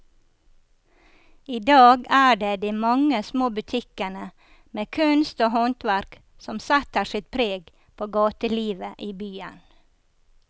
I dag er det de mange små butikkene med kunst og håndverk som setter sitt preg på gatelivet i byen.